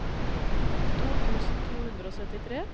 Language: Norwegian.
to tusen to hundre og syttitre